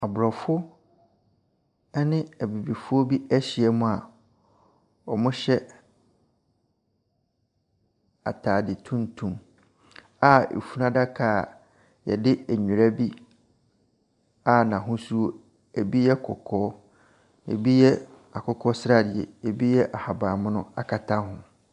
Abrɔfo ne Abibifoɔ bi ahyiam a wɔhyɛ ataade tutum a efunu adaka yɛde nwera bi a n'ahosuo ebi yɛ kɔkɔɔ. Ebi yɛ akokɔsrade, ebi yɛ ahabanmono akata ho.